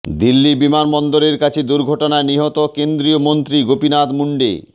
দিল্লি বিমানবন্দরের কাছে দুর্ঘটনায় নিহত কেন্দ্রীয় মন্ত্রী গোপীনাথ মুন্ডে